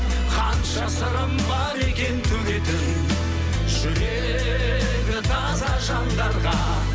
қанша сырым бар екен төгетін жүрегі таза жандарға